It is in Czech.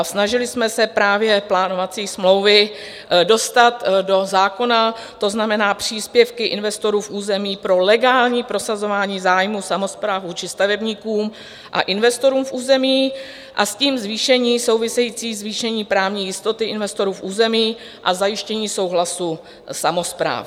A snažili jsme se právě plánovací smlouvy dostat do zákona, to znamená příspěvky investorů v území pro legální prosazování zájmů samospráv vůči stavebníkům a investorům v území, a s tím zvýšení, související zvýšení právní jistoty investorů v území a zajištění souhlasu samospráv.